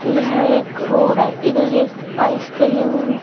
यह एक रोड है इधर एक आइसक्रीम --